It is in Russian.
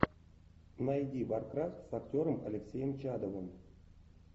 найди варкрафт с актером алексеем чадовым